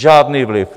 Žádný vliv.